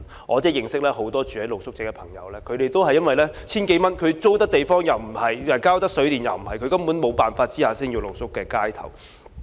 我認識很多露宿者都是因為這千多元根本不足以應付租金或水電費用，在沒有辦法下只能露宿街頭。